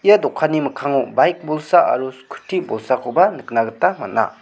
ia dokanni mikkango baik bolsa aro skuti bolsakoba nikna gita man·a.